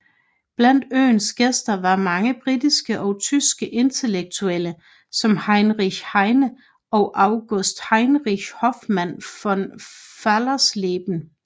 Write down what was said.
Blandt øens gæster var mange britiske og tyske intellektuelle som Heinrich Heine eller August Heinrich Hoffmann von Fallersleben